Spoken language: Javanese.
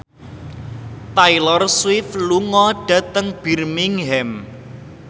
Taylor Swift lunga dhateng Birmingham